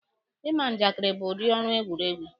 Ịma njakịrị bụ udi ọrụ egwuruegwu.